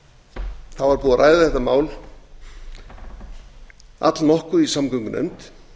var búið að ræða þetta mál allnokkuð í samgöngunefnd